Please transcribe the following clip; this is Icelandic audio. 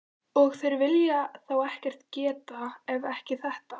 Og þeir vilja þá ekkert geta, ef ekki þetta.